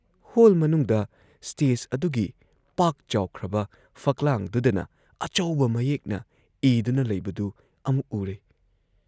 Hall ꯃꯅꯨꯡꯗ stage ꯑꯗꯨꯒꯤ ꯄꯥꯛ ꯆꯥꯎꯈ꯭ꯔꯕ ꯐꯛꯂꯥꯡꯗꯨꯗꯅ ꯑꯆꯧꯕ ꯃꯌꯦꯛꯅ ꯏꯗꯨꯅ ꯂꯩꯕꯗꯨ ꯑꯃꯨꯛ ꯎꯔꯦ ꯫